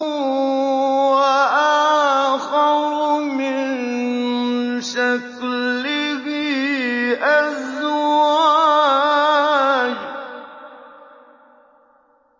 وَآخَرُ مِن شَكْلِهِ أَزْوَاجٌ